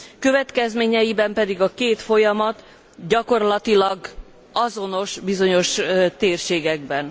Következményeiben pedig a két folyamat gyakorlatilag azonos bizonyos térségekben.